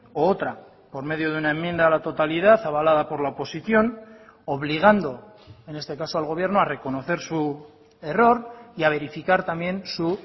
u otra por medio de una enmienda a la totalidad avalada por la oposición obligando en este caso al gobierno a reconocer su error y a verificar también su